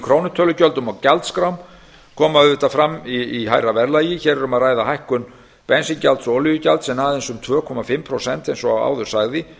krónutölugjöldum og gjaldskrám koma fram í hærra verðlagi hér er um að ræða hækkun bensíngjalds og olíugjalds en aðeins um tvö og hálft prósent eins og áður sagði